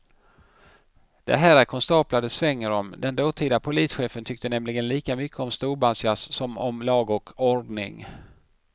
Det här är konstaplar det svänger om, den dåtida polischefen tyckte nämligen lika mycket om storbandsjazz som om lag och ordning.